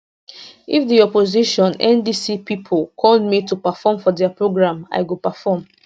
if di opposition ndc pipo call me to perform for dia programme i go perform